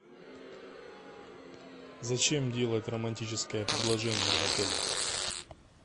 зачем делать романтическое предложение в отеле